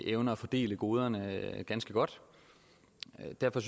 evner at fordele goderne ganske godt derfor